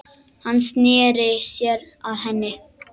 Hann sneri sér að henni.